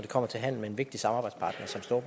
kommer til handel med en vigtig samarbejdspartner